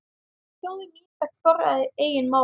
Þjóðin fékk forræði eigin mála.